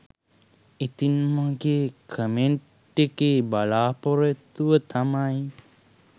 ඉතින් මගේ කමෙන්ට් එකේ බලාපොරොත්තුව තමයි